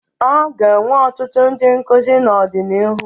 A ga-enwe ọtụtụ ndị nkuzi n'ọdịnihu.